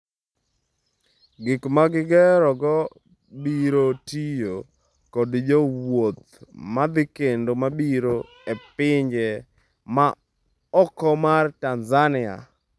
Gik ma gigerogo biro tiyo kod jowuoth madhi kendo mabiro e pinje ma oko mar Tanzania.